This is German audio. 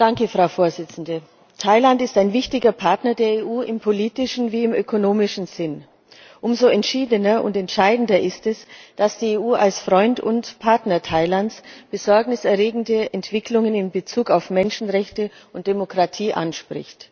Frau Präsidentin! Thailand ist ein wichtiger Partner der EU im politischen wie im ökonomischen Sinn. Umso entscheidender ist es, dass die EU als Freund und Partner Thailands besorgniserregende Entwicklungen in Bezug auf Menschenrechte und Demokratie anspricht.